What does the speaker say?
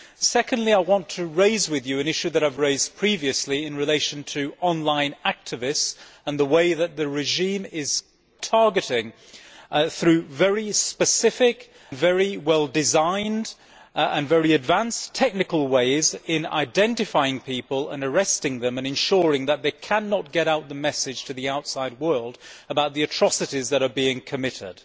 Secondly I want to raise with you an issue that I have raised previously in relation to online activists the way that the regime is targeting them, using very specific, very well designed and very advanced technical methods to identify people and arrest them and ensure that they cannot get out the message to the outside world about the atrocities that are being committed.